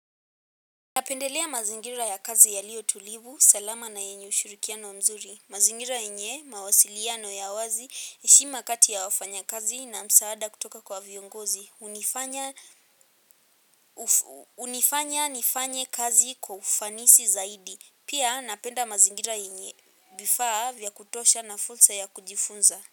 Napendelea mazingira ya kazi yaliyo tulivu, salama na yenye ushirikiano mzuri. Mazingira yenye, mawasiliano ya wazi, heshima kati ya wafanyakazi na msaada kutoka kwa viongozi. Hunifanya nifanye kazi kwa ufanisi zaidi. Pia napenda mazingira yenye vifaa vya kutosha na fursa ya kujifunza.